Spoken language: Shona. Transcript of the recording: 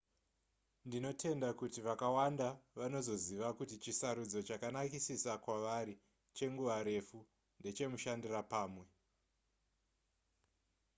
ndinotenda kuti vakawanda vanozoziva kuti chisarudzo chakanakisisa kwavari chenguva refu ndechemushandira pamwe